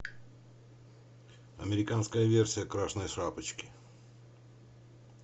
американская версия красной шапочки